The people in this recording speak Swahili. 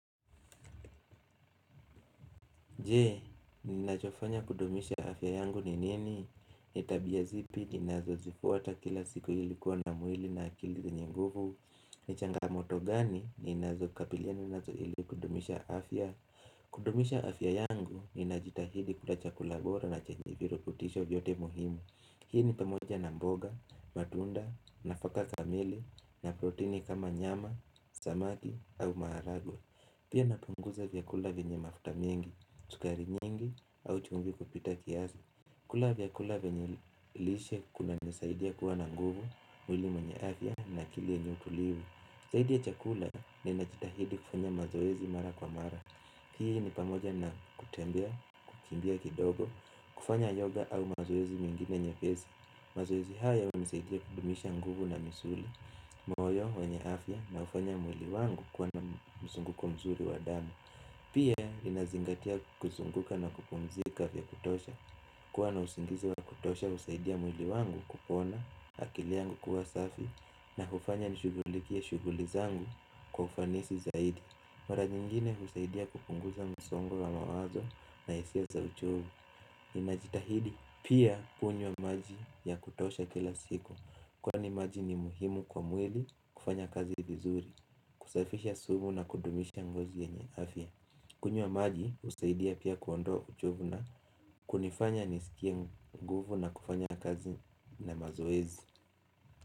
Jee, ninachofanya kudumisha afya yangu ni nini? Ni tabia zipi, ninazo zifuata kila siku ilikuwa na mwili na akili yenye nguvu ni changamoto gani, ninazo kabiliana nazo ili kudumisha afya. Kudumisha afya yangu, ninajitahidi kula chakula bora na chenye virutisho vyote muhimu Hii ni pamoja na mboga, matunda, nafaka kamili, na protini kama nyama, samaki au maharagwe Pia napunguza vyakula venye mafuta mingi, sukari nyingi au chumvi kupita kiazi. Kula vyakula venye lishe kunanisaidia kuwa na nguvu, mwili mwenye afya na kile nyuku liwe zaidi ya chakula ninajitahidi kufanya mazoezi mara kwa mara Hii ni pamoja na kutembea, kukimbia kidogo, kufanya yoga au mazoezi mingine nyepezi. Mazoezi haya yanisaidia kudumisha nguvu na misuli moyo wenye afya unafanya mwili wangu kuwa na mzunguko mzuri wa damu Pia inazingatia kuzunguka na kupunzika vya kutosha kuwa na usingizi wa kutosha husaidia mwili wangu kupona akili yangu kuwa safi na hufanya nishugulikie shuguli zangu kwa ufanisi zaidi Mara nyingine husaidia kupunguza msongo wa mawazo na hisia za uchovu ninajitahidi pia kunywa maji ya kutosha kila siku Kwani maji ni muhimu kwa mwili kufanya kazi vizuri, kusafisha sumu na kudumisha ngozi yenye afya kunywa maji husaidia pia kuondoa uchovu na kunifanya nisikie nguvu na kufanya kazi na mazoezi.